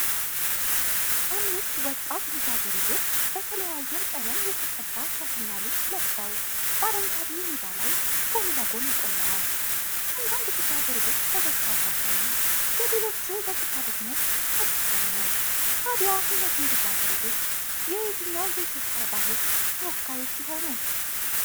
አምስት ወጣት ልጃገረዶች በተለያየ ቀለም የተቀባ ሻሽና ልብስ ለብሰው፣ በአረንጓዴ ሜዳ ላይ ጎን ለጎን ቆመዋል። አንዳንድ ልጃገረዶች ፈገግታ ሲያሳዩ፣ የሌሎቹ ገጽታ ደግሞ ጸጥ ያለ ነው። ታዲያ እነዚህ ልጃገረዶች የየትኛው የኢትዮጵያ ባህል ተወካዮች ይሆኑ?